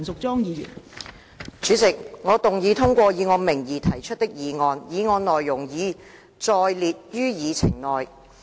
代理主席，我動議通過以我名義提出的議案，議案內容已載列於議程內。